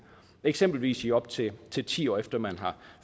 eksempelvis i op til ti ti år efter man har